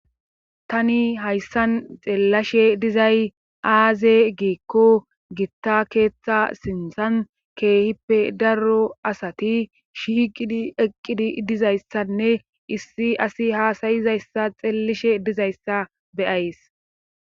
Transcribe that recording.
Tani hayssan xeellashe dizay aaze giikko gitta keeththa sintsan keehippe darro asati shiqidi eqqidi idizayssanne issi asi haasayizayssa xeellishe dizayssa beyays